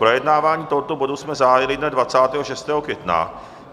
Projednávání tohoto bodu jsme zahájili dne 26. května.